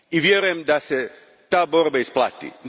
Vjerujem da se ta borba isplati.